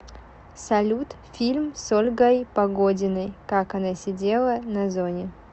салют фильм с ольгой погодиной как она сидела на зоне